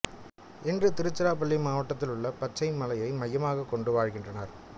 இன்று திருச்சிராப்பள்ளி மாவட்டத்திலுள்ள பச்சை மலையை மையமாக கொண்டு வாழ்கின்றனர்